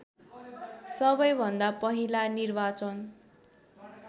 सबैभन्दा पहिला निर्वाचन